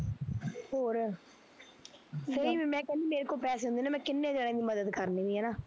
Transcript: ਹੋਰ ਨਹੀਂ ਫਿਰ ਮੈਂ ਕਹਿੰਦੀ ਮੇਰੇ ਕੋਲ ਪੈਸੇ ਹੁੰਦੇ ਨਾ ਮੈਂ ਕਿੰਨੇ ਜਣਿਆ ਦੀ ਮੱਦਦ ਕਰਣੀ ਹੀ ਹੈਨਾ